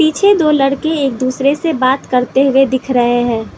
पीछे दो लड़के एक दूसरे से बात करते हुए दिख रहे हैं।